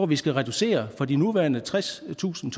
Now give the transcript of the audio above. vi skal reducere fra de nuværende tredstusind